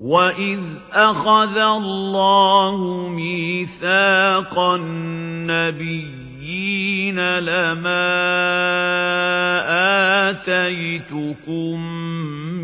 وَإِذْ أَخَذَ اللَّهُ مِيثَاقَ النَّبِيِّينَ لَمَا آتَيْتُكُم